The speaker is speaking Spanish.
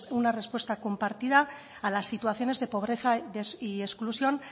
una respuesta compartida a las situaciones de pobreza y exclusión